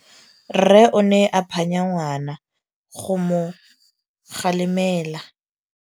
Rre o ne a phanya ngwana go mo galemela.